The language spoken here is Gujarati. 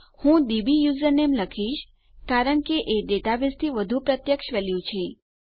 હું ડબ્યુઝરનેમ લખીશ કારણ કે એ ડેટાબેઝથી વધુ પ્રત્યક્ષ વેલ્યુ છે